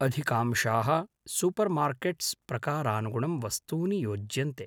अधिकांशाः सूपर्मार्केट्स् प्रकारानुगुणं वस्तूनि यॊज्यन्ते।